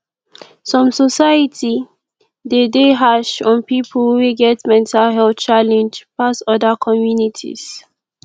some society de dey hash on pipo wey get mental health challenge pass oda communities